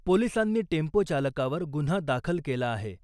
पोलिसांनी टेम्पोचालकावर गुन्हा दाखल केला आहे .